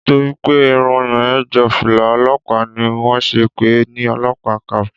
Nítorí pé Irun yẹn jọ fìlà olópàá ni wón ṣe ń pè ni police cap.